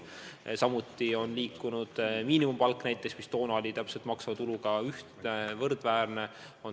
Samuti on tõusnud miinimumpalk, mis varem oli maksuvaba tuluga võrdväärne.